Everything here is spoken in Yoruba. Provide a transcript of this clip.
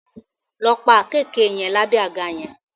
Lọ pa àkekèé yẹn lábẹ́ àga yẹn!